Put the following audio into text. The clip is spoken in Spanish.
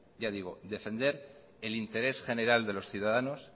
ya digo defender el interés general de los ciudadanos